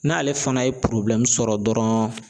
N'ale fana ye sɔrɔ dɔrɔn.